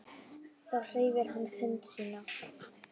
Þá hreyfir hann hönd sína.